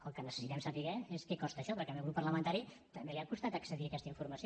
el que necessitem saber és què costa això perquè al meu grup parlamentari també li ha costat accedir a aquesta informació